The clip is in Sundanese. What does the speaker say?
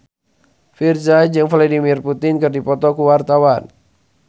Virzha jeung Vladimir Putin keur dipoto ku wartawan